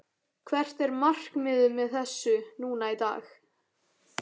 Hvert er markmiðið með þessu núna í dag?